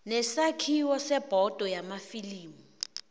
nesakhiwo sebhodo yamafilimu